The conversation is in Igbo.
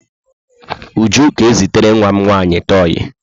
Uju ga-ezitere nwa m nwaanyị toi.